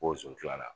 Ko sɔn tila